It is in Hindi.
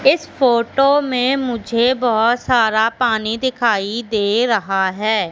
इस फोटो में मुझे बहोत सारा पानी दिखाई दे रहा है।